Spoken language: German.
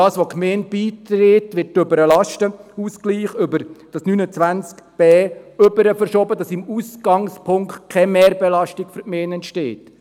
Was die Gemeinde beiträgt, wird über Artikel 29b FILAG verschoben, sodass im Ausgangspunkt keine Mehrbelastung für die Gemeinde entsteht.